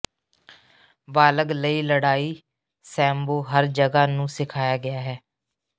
ਬਾਲਗ ਲਈ ਲੜਾਈ ਸੈਮਬੋ ਹਰ ਜਗ੍ਹਾ ਨੂੰ ਸਿਖਾਇਆ ਗਿਆ ਹੈ